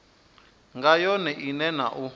nga yone ine na u